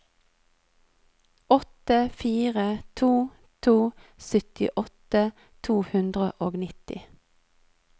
åtte fire to to syttiåtte to hundre og nitti